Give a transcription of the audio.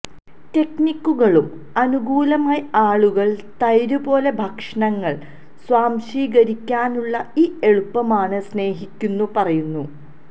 ടെക്നിക്കുകളും അനുകൂലമായി ആളുകൾ തൈര് പോലെ ഭക്ഷണങ്ങൾ സ്വാംശീകരിക്കാനുള്ള ഈ എളുപ്പമാണ് സ്നേഹിക്കുന്നു പറയുന്നു